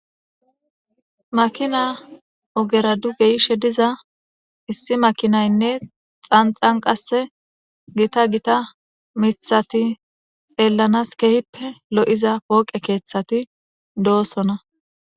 Makina ogera dugeyishe diza issi makinaynne xanxan qasse gita gita mithati xeellanas kehippe lo7iza pooqe keeththati doosona.